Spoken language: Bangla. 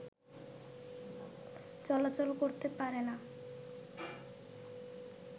চলাচলা করতে পারে না